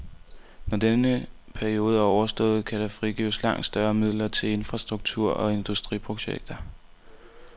Når denne periode er overstået kan der frigives langt større midler til infrastruktur og industriprojekter.